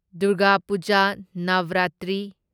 Durga Puja Navratri